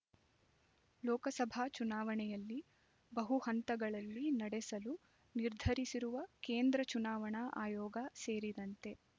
ಲೋಕಸಭಾ ಚುನಾವಣೆಯಲ್ಲಿ ಬಹುಹಂತಗಳಲ್ಲಿ ನಡೆಸಲು ನಿರ್ಧರಿಸಿರುವ ಕೇಂದ್ರ ಚುನಾವಣಾ ಆಯೋಗ ಸೇರಿದಂತೆ